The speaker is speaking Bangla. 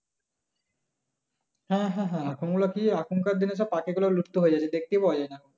হ্যাঁ হ্যাঁ এখন ওগুলো কি এখনকার দিনে সব পাখিগুলো লুপ্ত হয়ে যায় দেখতেই পাওয়া যায় না।